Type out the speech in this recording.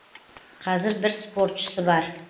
қазір бір спортшысы бар